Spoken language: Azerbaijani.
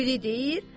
O biri deyir: